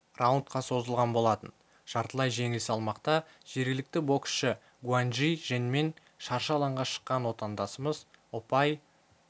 раундқа созылған болатын жартылай жеңіл салмақта жергілікті боксшы гуаньжи женмен шаршы алаңға шыққан отандасымыз ұпай